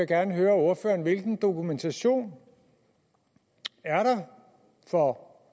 gerne høre ordføreren hvilken dokumentation er der for